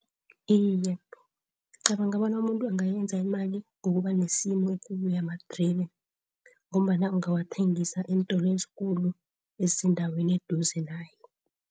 Iye ngicabanga bona umuntu angayenza imali ngokuba nesimu ekulu yamadribe ngombana angawathengisa eentolo ezikulu ezisendaweni eseduze naye.